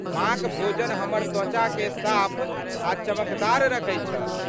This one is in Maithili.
माँक भोजन हमर त्वचाकेँ साफ आ चमकदार रखै छल।